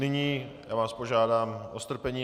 Nyní vás požádám o strpení.